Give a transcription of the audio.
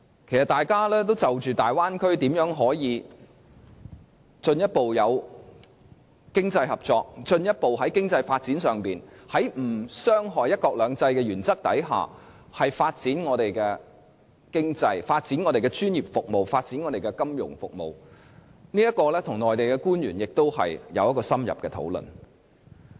其實，我們當時也是就着如何在大灣區做到進一步經濟合作，以及在不傷害"一國兩制"的原則下，如何進一步發展我們的經濟、專業服務和金融服務，與內地官員進行了深入討論。